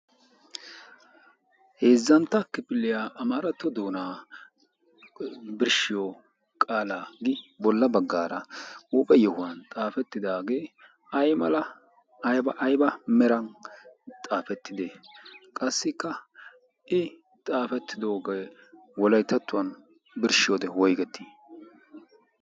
Heezzantta kifiliyaa amaaratto doonaa birshshiyo qaalappe bolla baggaara huuphiyan yohuwan xaafettidaage aymala ayba ayba meran xaafetide? Qassikka i xaafettidoge wolayttatuwawu birshshiyode woyggi?